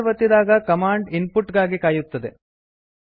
enter ಒತ್ತಿದಾಗ command input ಗಾಗಿ ಕಾಯುತ್ತದೆ